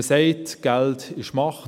Man sagt, Geld sei Macht.